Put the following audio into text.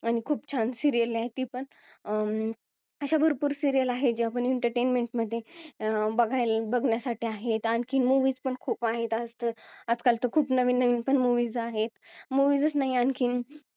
आणि खूप छान serial आहे ती पण अं अशा भरपूर serial आहेत ज्या आपण entertainment मध्ये अं बघायला बघण्यासाठी आहेत आणखीन movies पण खूप आहेत आजकाल तर खूप नवीन नवीन movies आहेत movies च नाही आणखीन